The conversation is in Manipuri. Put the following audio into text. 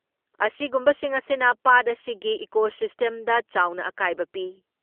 ꯑꯁꯤꯒꯨꯝꯕꯁꯤꯡ ꯑꯁꯤꯅ ꯄꯥꯠ ꯑꯁꯤꯒꯤ ꯏꯀꯣꯁꯤꯁꯇꯦꯝꯗ ꯆꯥꯎꯅ ꯑꯀꯥꯏꯕ ꯄꯤ ꯫